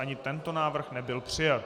Ani tento návrh nebyl přijat.